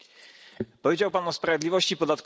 Powiedział Pan o sprawiedliwości podatkowej.